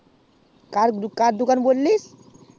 কার দোকান বললি